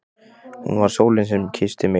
Hún var sólin sem kyssti mig.